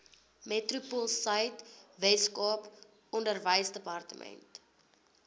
metropoolsuid weskaap onderwysdepartement